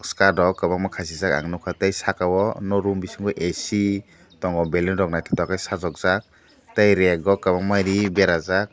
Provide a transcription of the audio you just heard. start rok kwbanga khasijak nugkha tei saka o room bisingo AC tongo balloon rok nythokdagui sajuk jaak tei reg o kwbangma ree berajak.